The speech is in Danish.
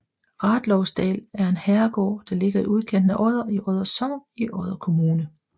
Rathlousdal er en herregård der ligger i udkanten af Odder i Odder Sogn i Odder Kommune